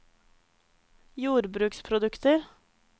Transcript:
jordbruksprodukter